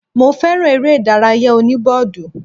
Mo fẹ́ràn eré ìdárayá òní bọ́ọ̀dù